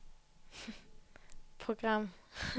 program